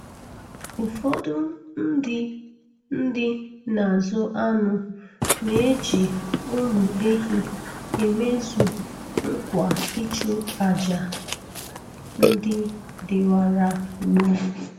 Ụfọdụ ndị ndị na-azụ anụ na-eji ụmụ ehi emezu nkwa ịchụ àjà ndị dịwara gboo